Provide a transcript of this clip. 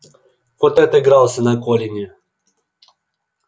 вот и отыгрался на колине